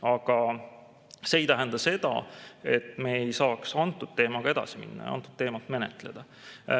Aga see ei tähenda seda, et me ei saaks selle teemaga edasi minna ja seda teemat menetleda.